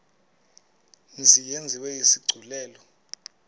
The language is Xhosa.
mzi yenziwe isigculelo